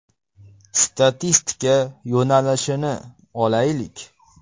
Statistika yo‘nalishini olaylik.